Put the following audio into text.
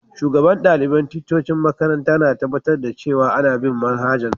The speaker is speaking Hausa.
Shugaban dalibain ticcocin makaranta na tabatar cewa ana bin' manhajan'.